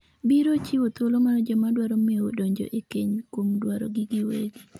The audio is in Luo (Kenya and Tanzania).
biro chiwo thuolo mar joma dwaro mewo donjo e keny kuom dwarogi giwegi